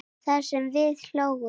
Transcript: Það sem við hlógum.